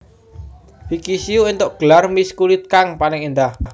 Vicky Shu éntuk gelar Miss kulit kang paling endah